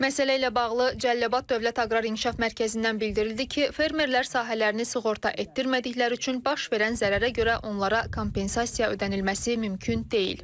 Məsələ ilə bağlı Cəlilabad Dövlət Aqrar İnkişaf Mərkəzindən bildirildi ki, fermerlər sahələrini sığorta etdirmədikləri üçün baş verən zərərə görə onlara kompensasiya ödənilməsi mümkün deyil.